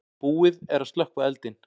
Búið er að slökkva eldinn.